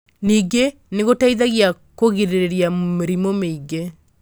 Ningĩ. nĩ gũteithagia kwĩgirĩrĩria mĩrimũ mĩingĩ.